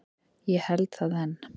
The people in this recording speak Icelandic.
Ég held það enn.